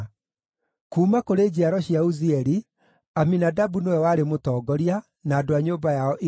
kuuma kũrĩ njiaro cia Uzieli, Aminadabu nĩwe warĩ mũtongoria, na andũ a nyũmba yao 112.